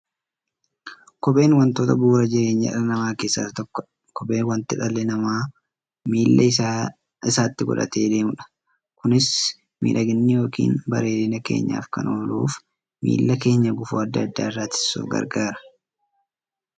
Kopheen wantoota bu'uura jireenya dhala namaa keessaa isa tokkodha. Kopheen wanta dhalli namaa miilla isaatti godhatee deemudha. Kunis miidhagani yookiin bareedina keenyaf kan ooluufi miilla keenya gufuu adda addaa irraa ittisuuf gargaara.